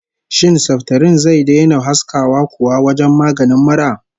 Shin saftirin zai daina haskawa kuwa wajen maganin mura?